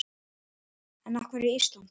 En af hverju Ísland?